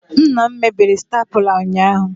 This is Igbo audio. Nna m mebiri staplula ụnyahụ